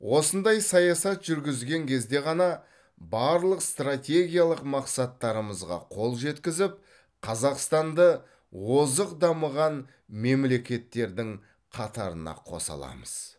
осындай саясат жүргізген кезде ғана барлық стратегиялық мақсаттарымызға қол жеткізіп қазақстанды озық дамыған мемлекеттердің қатарына қоса аламыз